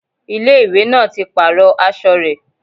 Ilé ìwé náà ti pàrọ̀ aṣọ rẹ̀